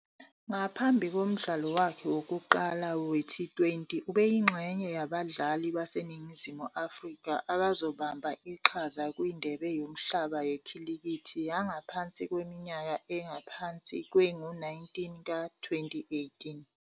Ngaphambi komdlalo wakhe wokuqala we-T20, ubeyingxenye yabadlali baseNingizimu Afrika abazobamba iqhaza kwiNdebe Yomhlaba Yekhilikithi Yangaphansi Kweminyaka Engaphansi Kwengu-19 ka -2018.